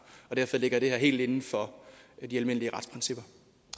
derfor ligger det her helt inden for de almindelige retsprincipper